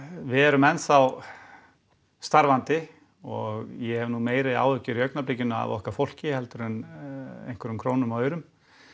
við erum enn þá starfandi og ég hef nú meiri áhyggjur í augnablikinu af okkar fólki heldur en einhverjum krónum og aurum